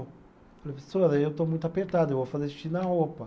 Professora, eu estou muito apertado, eu vou fazer xixi na roupa.